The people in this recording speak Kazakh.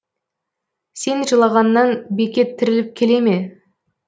сен жылағаннан бекет тіріліп келе ме